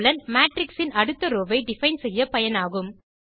matrix இன் அடுத்த row ஐ டிஃபைன் செய்ய பயனாகும்